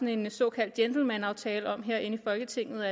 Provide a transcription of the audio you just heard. en såkaldt gentlemanaftale her i folketinget